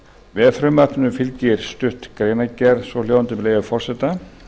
með frumvarpinu fylgir stutt greinargerð svohljóðandi með leyfi forseta